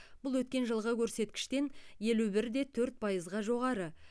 бұл өткен жылғы көрсеткіштен елу бір де төрт пайызға жоғары